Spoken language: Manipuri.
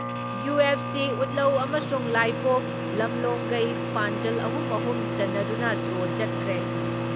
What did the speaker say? ꯌꯨ.ꯑꯦꯐ.ꯁꯤ ꯎꯠꯂꯧ ꯑꯃꯁꯨꯡ ꯂꯥꯏꯄꯣꯛ ꯂꯝꯂꯣꯡꯒꯩ ꯄꯥꯟꯖꯜ ꯑꯍꯨꯝ ꯑꯍꯨꯝ ꯆꯟꯅꯗꯨꯅ ꯗ꯭ꯔꯣ ꯆꯠꯈ꯭ꯔꯦ ꯫